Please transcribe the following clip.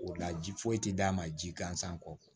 O la ji foyi ti d'a ma ji gansan kɔ